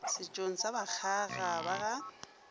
setšong sa bakgaga ba ga